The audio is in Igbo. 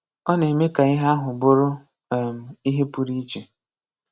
Ọ̀ nà-èmè kà íhè àhụ̀ bùrú um íhè pụ̀rụ̀ íchè